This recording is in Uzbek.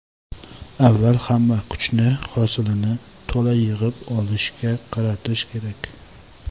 Avval hamma kuchni hosilni to‘la yig‘ib olishga qaratish kerak.